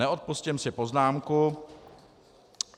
Neodpustím si poznámku.